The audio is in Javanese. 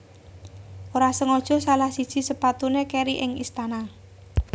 Ora sengaja salah siji sepatuné kèri ing istana